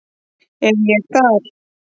Er ég þar?